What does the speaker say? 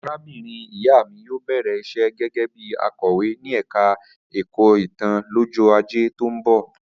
Arábìnrin ìyá mi yóò bẹ̀rẹ̀ iṣẹ́ gẹ́gẹ́ bí akọ̀wé ní ẹ̀ka ẹ̀kọ́ ìtàn lọ́jọ́ ajé tó ń bọ̀